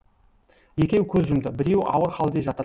екеуі көз жұмды біреуі ауыр халде жатыр